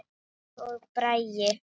Rut og Bragi.